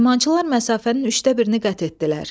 İdmançılar məsafənin üçdə birini qət etdilər.